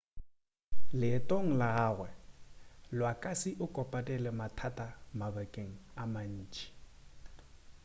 leetong la gagwe iwasaki o kopane le mathata mabakeng a mantši